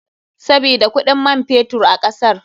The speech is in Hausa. Sabida kuɗin man fetur a kasar.